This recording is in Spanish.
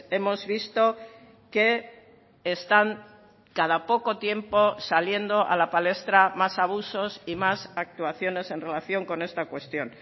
hemos visto que están cada poco tiempo saliendo a la palestra más abusos y más actuaciones en relación con esta cuestión